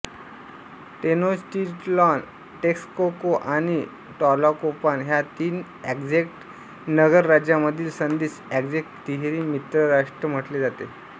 Tenochtitlan Texcoco आणि Tlacopan ह्या तीन अझ्टेक नगरराज्यामधील संधीस अझ्टेक तिहेरी मित्रराष्ट्र म्हटले जाते